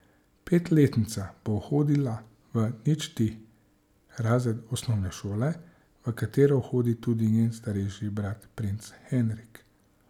Petletnica bo hodila v ničti razred osnovne šole, v katero hodi tudi njen starejši brat princ Henrik.